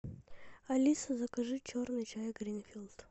алиса закажи черный чай гринфилд